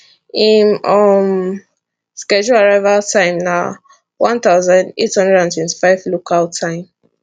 im um scheduled arrival time na 1825 local time